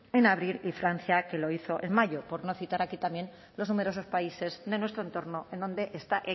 en abril y francia que lo hizo en mayo por no citar aquí también los numerosos países de nuestro entorno en donde está